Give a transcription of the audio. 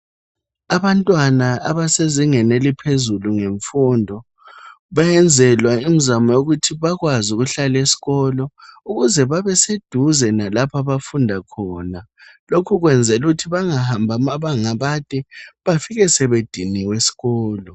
Abantwana abasezingeni eliphezulu ngemfundo bayenzelwa imizamo yokuthi bakwazi ukuhlala esikolo ukuze babeseduze nalapho abafunda khona lokhu kwenzelwa ukuthi bangahambi amabanga amade befike sebediniwe esikolo